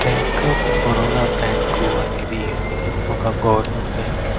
bank of Baroda bank అనేది ఒక government bank --